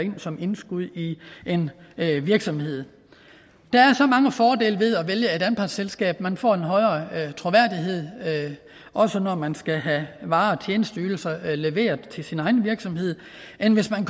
som indskud i en virksomhed der er så mange fordele ved at vælge et anpartsselskab man får en højere troværdighed også når man skal have varer og tjenesteydelser leveret til egen virksomhed end hvis man